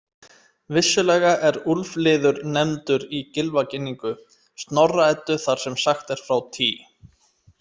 Vissulega er úlfliður nefndur í Gylfaginningu Snorra-Eddu þar sem sagt er frá Tý.